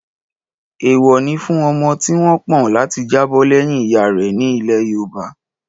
Èèwọ̀ ni fún ọmọ tí wọ́n pọ̀n láti jábọ̀ lẹ́yìn ìyá rẹ̀ ní ilẹ̀ yoòbá